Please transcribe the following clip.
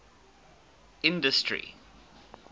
industry